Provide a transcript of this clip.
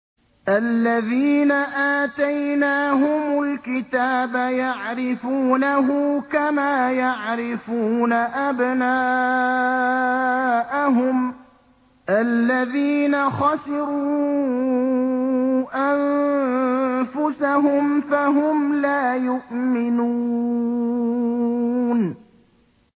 الَّذِينَ آتَيْنَاهُمُ الْكِتَابَ يَعْرِفُونَهُ كَمَا يَعْرِفُونَ أَبْنَاءَهُمُ ۘ الَّذِينَ خَسِرُوا أَنفُسَهُمْ فَهُمْ لَا يُؤْمِنُونَ